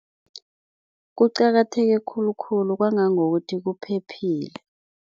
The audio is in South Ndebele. Kuqakatheke khulukhulu kwangangokuthi kuphephile.